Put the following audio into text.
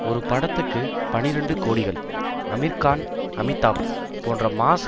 ஒரு படத்துக்கு பனிரண்டு கோடிகள் அமீர்கான் அமிதாப் போன்ற மாஸ்